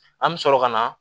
An bɛ sɔrɔ ka na